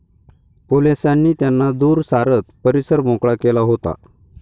पोलिसांनी त्यांना दूर सारत परिसर मोकळा केला होता.